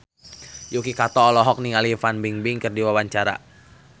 Yuki Kato olohok ningali Fan Bingbing keur diwawancara